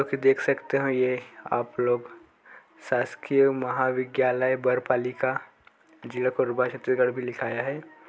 --आप देख सकते ये आप लोग शासकीय महाविद्याल बरपाली का जिला कोरबा छत्तीसगढ़ भी लिखा है।